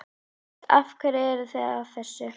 Hödd: Af hverju eruð þið að þessu?